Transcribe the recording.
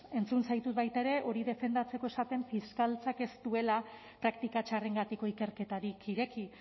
entzun zaitut baita ere hori defendatzeko esaten fiskaltzak ez duela praktika txarrengatiko ikerketarik ireki